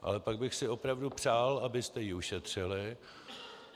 Ale pak bych si opravdu přál, abyste je ušetřili.